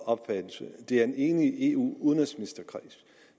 opfattelse det er en enig kreds af eu udenrigsministre